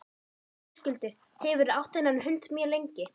Höskuldur: Hefurðu átt þennan hund mjög lengi?